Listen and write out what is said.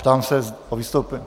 Ptám se na vystoupení.